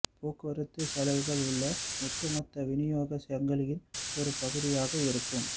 போக்குவரத்து செலவுகள் உங்கள் ஒட்டுமொத்த விநியோக சங்கிலியின் ஒரு பகுதியாக இருக்கும்